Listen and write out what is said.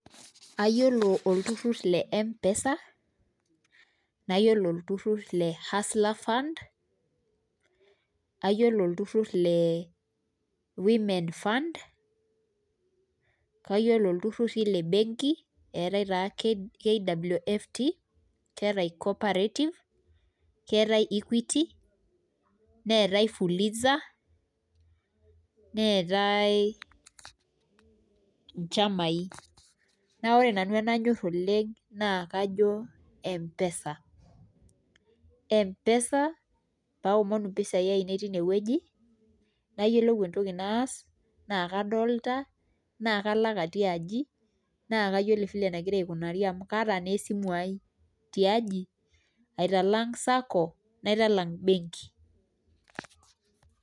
Ayiolo olturur le mpesa, mayiolo olturur, le hustler fund, ayiolo olturur le women fund, kayioolo iltururi le benki, eetae taa left, eeta cooperative, keetae equity, neetae, fuliza, neetae nchamai, naa ore nanu enanyor oleng, naa kajo mpesa, mpesa, pee aomonu mpisai ainei teine wueji nayiolou entoki naas, naa kadolta, naa kadol ajo, kalak atii aji naa kayioolo file nagira aikunari amu kaata naa esimu ai.tiaji, aitalang Sako naitalang benki.